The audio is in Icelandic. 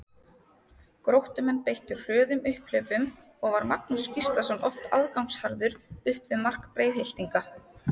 Gróttumenn beittu hröðum upphlaupum og var Magnús Gíslason oft aðgangsharður upp við mark Breiðhyltinga.